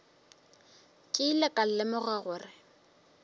ke ilego ka lemoga gore